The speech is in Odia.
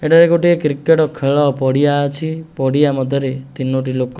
ଏଠାରେ ଗୋଟେ କ୍ରିକେଟ ଖେଳ ପଡିଆ ଅଛି ପଡିଆ ମଧ୍ୟରେ ତିନୋଟି ଲୋକ --